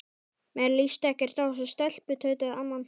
Mér líst ekkert á þessa stelpu tautaði amman.